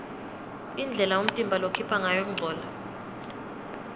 indlela umtimba lokhipha ngayo kungcola